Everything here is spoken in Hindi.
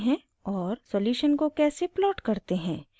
* सॉल्यूशन को कैसे प्लॉट करते हैं